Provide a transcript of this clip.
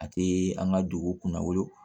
A te an ka dugu kunnawolo